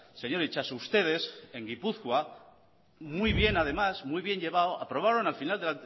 señor itxaso ustedes en gipuzkoa muy bien además muy bien llevado aprobaron al final de